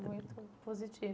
Muito positiva.